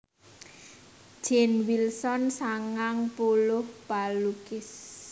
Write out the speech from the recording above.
Jane Wilson sangang puluh palukis